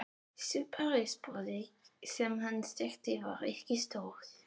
Sú Parísarborg sem hann þekkti var ekki stór.